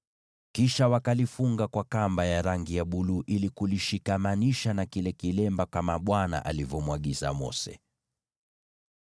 Kisha wakalifunga kwa kamba ya rangi ya buluu ili kulishikamanisha na kile kilemba kama Bwana alivyomwagiza Mose.